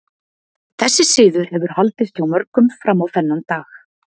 Þessi siður hefur haldist hjá mörgum fram á þennan dag.